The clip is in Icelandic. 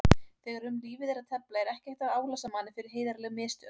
Þegar um lífið er að tefla er ekki hægt að álasa manni fyrir heiðarleg mistök.